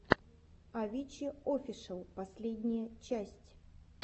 авичи офишел последняя часть